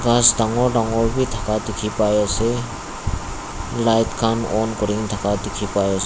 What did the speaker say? ghas dangor dangor bi dekha dekhi pai ase light khan on kori thaka dekhi pai ase--